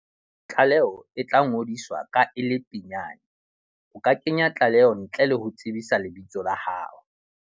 Tlaleo e tlangodiswa ka e le pinyane. O ka kenya tlaleo ntle le ho tsebisa lebitso la hao.